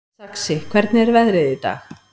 Saxi, hvernig er veðrið í dag?